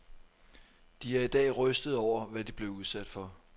De er i dag rystede over, hvad de blev udsat for.